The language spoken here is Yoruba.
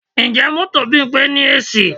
Ǹjẹ́ mọ́tò Bímpé ní AC?